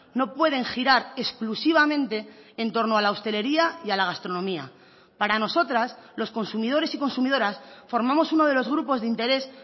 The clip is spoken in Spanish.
no pueden girar exclusivamente en torno a la hostelería y a la gastronomía para nosotras los consumidores y consumidoras formamos uno de los grupos de interés